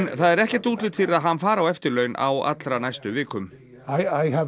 það er ekkert útlit fyrir að hann fari á eftirlaun á allra næstu vikum